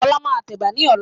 Ọlá máa tẹ Ẹ̀bà ni ọ̀la.